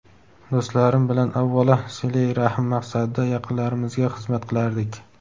do‘stlarim bilan avvalo silai rahm maqsadida yaqinlarimizga xizmat qilardik.